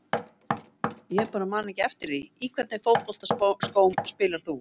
Ég bara man ekki eftir því Í hvernig fótboltaskóm spilar þú?